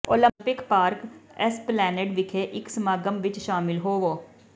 Olympic park Esplanade ਵਿਖੇ ਇਕ ਸਮਾਗਮ ਵਿੱਚ ਸ਼ਾਮਲ ਹੋਵੋ